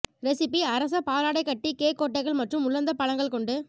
recipe அரச பாலாடைக்கட்டி cake கொட்டைகள் மற்றும் உலர்ந்த பழங்கள் கொண்டு